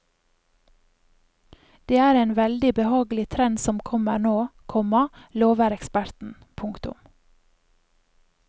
Det er en veldig behagelig trend som kommer nå, komma lover eksperten. punktum